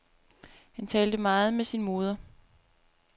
Han talte meget med sin moder.